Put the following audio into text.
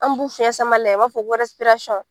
An b'u fiɲɛ sama la yan , i b'a fɔ ko .